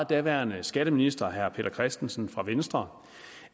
daværende skatteminister herre peter christensen fra venstre